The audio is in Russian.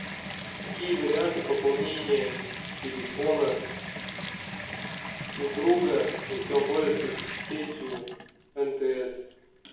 какие варианты пополнения телефона у друга если он пользуется сетью мтс